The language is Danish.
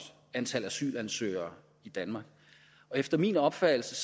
antal asylansøgere i danmark efter min opfattelse